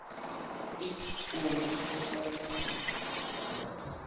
u imvumvusa na u bvelaphana